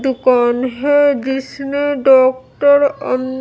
दुकान है जिसने डॉक्टर अन--